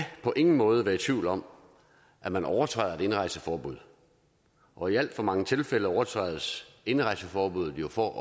på ingen måde være i tvivl om at man overtræder et indrejseforbud og i alt for mange tilfælde overtrædes indrejseforbuddet jo for at